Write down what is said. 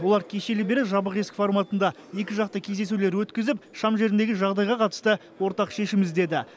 олар кешелі бері жабық есік форматында екіжақты кездесулер өткізіп шам жеріндегі жағдайға қатысты ортақ шешім іздеді